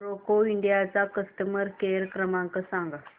Roca India चा customer care क्रमांक सांगा